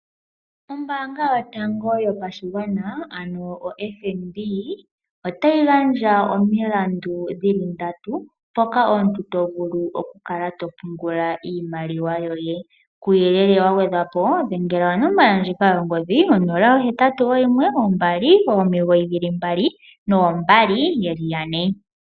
Ombaanga yotango yopashigwana FNB otayi gandja omilandu dhili ndatu . Moka omuntu to vulu oku kala to pungula iimaliwa yoye . Kuuyelele wa gwedhwa po dhengela onomola yongodhi, onola ,ohetatu oyimwe nombali omigoyi dhili mbali noombali yeli yane.